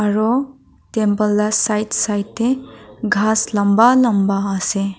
aro temple la side side de kas lamba lamba ase.